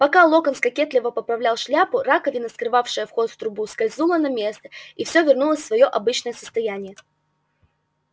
пока локонс кокетливо поправлял шляпу раковина скрывавшая вход в трубу скользнула на место и все вернулось в своё обычное состояние